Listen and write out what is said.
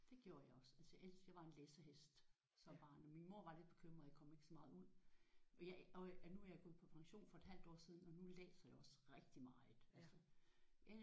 Det gjorde jeg også altså jeg jeg var en læsehest som barn. Og min mor var lidt bekymret jeg kom ikke så meget ud. Og nu er jeg gået på pension for et halvt år siden og nu læser jeg også rigtig meget altså